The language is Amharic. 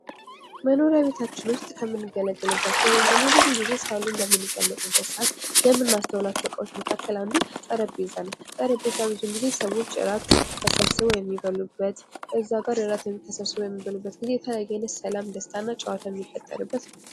መኖሪያ ቤታችን ውስጥ ከምንገልባቸው ወይም ደግሞ ብዙ ግዜ ሳሎን በምንቀመጥበት ሰአት የምናስተውላቸው እቃዎች መካከል አንዱ ጠረጴዛ ነው ::ጠረጴዛ ብዙ ጊዜ ሰዎች እራት ተሰብስበው የሚበሉበት እዛጋ እራት ተሰብስበው በሚበሉበት ጊዜ የተለያየ አይነት ሰላም ደስታና ጨዋታ የሚፈጠርበት ነው ::